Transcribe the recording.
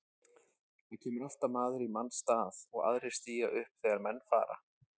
Það kemur alltaf maður í manns stað og aðrir stíga upp þegar menn fara.